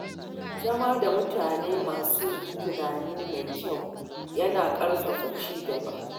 Zama da mutane masu tunani mai kyau yana ƙarfafa ci gaba.